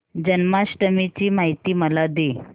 जन्माष्टमी ची माहिती मला दे